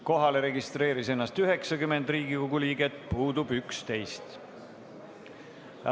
Kohale registreerus 90 Riigikogu liiget, puudub 11.